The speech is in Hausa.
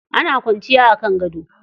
Ana kwanciya a kan gado.